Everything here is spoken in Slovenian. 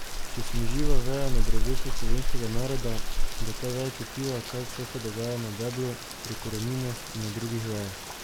Če sem živa veja na drevesu slovenskega naroda, bo ta veja čutila, kaj vse se dogaja na deblu, pri koreninah in na drugih vejah.